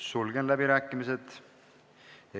Sulgen läbirääkimised.